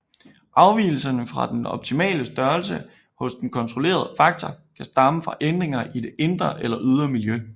Afvigelser fra den optimale størrelse hos den kontrollerede faktor kan stamme fra ændringer i det indre eller ydre miljø